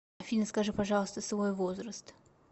афина скажи пожалуйста свой возраст